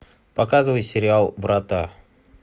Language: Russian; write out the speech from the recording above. показывай сериал врата